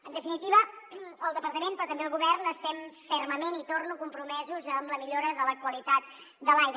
en definitiva el departament però també el govern estem fermament hi torno compromesos amb la millora de la qualitat de l’aire